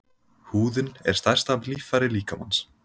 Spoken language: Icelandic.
Húðin er stærsta líffæri líkamans.